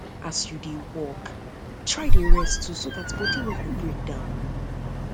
as yu dey work try dey rest um too so dat body no go break down